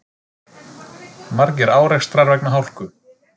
Margir árekstrar vegna hálku